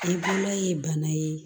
I bolola ye bana ye